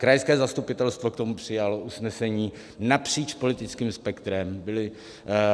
Krajské zastupitelstvo k tomu přijalo usnesení napříč politickým spektrem.